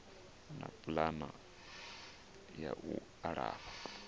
na pulani ya u alafha